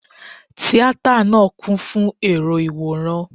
Tíátà náà kún fún èrò Ìwòran.